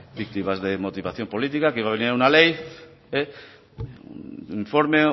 víctimas de motivación política un informe